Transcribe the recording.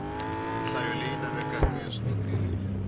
nhlayo leyi lavekaka ya swivutiso